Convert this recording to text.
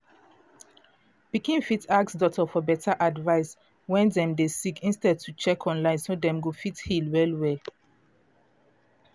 pikin fit ask doctor for better advice wen dem dey sick instead to dey check online so dem go fit heal well well